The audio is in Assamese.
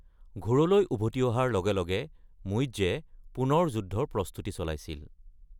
ঘোৰলৈ উভতি অহাৰ লগে লগে মুইজ্জে পুনৰ যুদ্ধৰ প্ৰস্তুতি চলাইছিল।